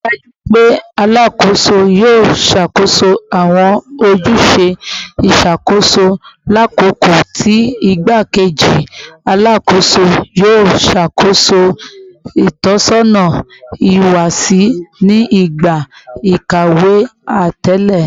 Rii daju pe Alakoso yoo ṣakoso awọn ojuse iṣakoso lakoko ti Igbakeji Alakoso yoo ṣakoso itọsọna ihuwasi ni igba ikawe atẹle